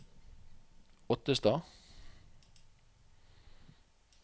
Ottestad